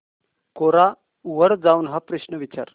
कोरा वर जाऊन हा प्रश्न विचार